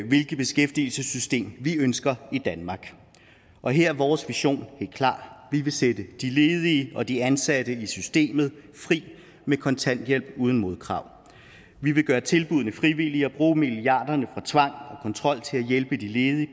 hvilket beskæftigelsessystem vi ønsker i danmark og her er vores vision helt klar vi vil sætte de ledige og de ansatte i systemet fri med kontanthjælp uden modkrav vi vil gøre tilbuddene frivillige og bruge milliarderne fra tvang og kontrol til at hjælpe de ledige